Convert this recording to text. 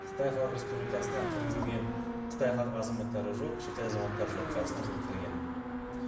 қытай халық республикасынан кіргізілген қытай азаматтары жоқ шет ел азаматтары жоқ қазақстан республикасына кірген